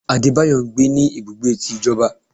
Adébáyọ ńgbé ní ibùgbé tí ìjọba.